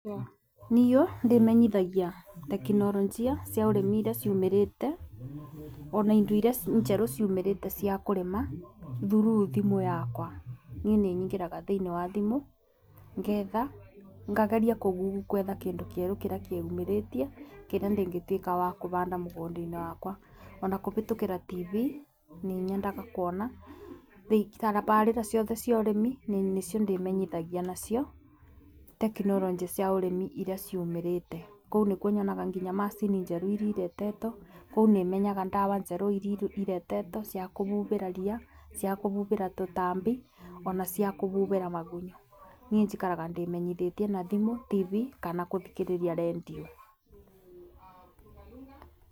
Niĩ ndĩmenyithagia tekinoronjia cia ũrĩmi irĩa ciĩyumĩrĩtie ona indo irĩa njerũ ciumirite ciakũrĩma through thimũ yakwa. Niĩ nĩ nyingĩraga thĩiniĩ wa thimũ ngetha ngageria kũ google gwetha kĩndũ kĩerũ kĩrĩa kĩyumĩritie, kĩrĩa ingĩtuĩka wa kũbanda mũgũnda-inĩ wakwa. Ona kũbĩtũkĩra TV, nĩ nyendaga kuona tabarĩra ciothe cia ũrĩmi nĩcio ndĩmenyithagia nacio tekinoronjĩ cia ũrĩmi iria ciumĩrĩte. Nĩkuo nyonaga nginya macini njerũ iria iretetwo, kũu nĩ menyaga ndawa njerũ iria iretetwo cia kũbubĩra ria, cia kũbubĩra tũtambi, ona cia kũbubĩra magunyũ. Niĩ njikara ndĩmenyithĩtie na thimũ, TV, kana kũthikĩrĩria rendiũ.